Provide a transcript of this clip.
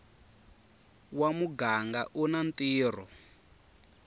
wa muganga u na ntirho